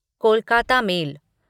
Kolkata mail